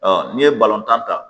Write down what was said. n'i ye balontan ta